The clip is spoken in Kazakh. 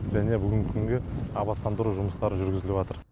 және бүгінгі күнге абаттандыру жұмыстары жүргізіліватыр